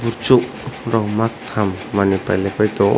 chuk rok maktham manwi pailaipai tongo.